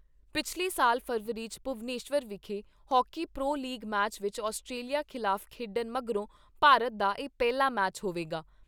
ਪਿਛਲੇ ਸਾਲ ਫ਼ਰਵਰੀ 'ਚ ਭੁਵਨੇਸ਼ਵਰ ਵਿਖੇ ਹਾਕੀ ਪ੍ਰੋ ਲੀਗ ਮੈਚ ਵਿਚ ਆਸਟ੍ਰੇਲੀਆ ਖਿਲਾਫ ਖੇਡਣ ਮਗਰੋਂ ਭਾਰਤ ਦਾ ਇਹ ਪਹਿਲਾ ਮੈਚ ਹੋਵੇਗਾ।